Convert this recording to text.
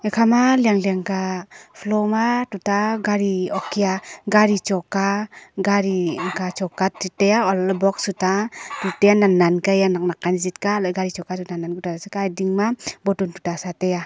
ekhama liak liak ka floor ma tuta gari okia gari choka gari an ka choka chu tai olahle box chu ta tutan nan nan ka hia nak nak ka jik ka hala le gari choka chu nan nan ka hia nak nak ka chu ding ma bottle sa chu tai a.